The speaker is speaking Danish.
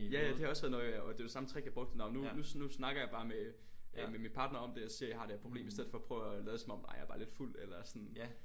Ja ja det har også været noget jeg og det var det samme trick jeg brugte nå nu nu nu snakker jeg bare med øh med min partner om det og siger jeg har det her problem i stedet for at prøve at lade som om ej jeg er bare lidt fuld eller sådan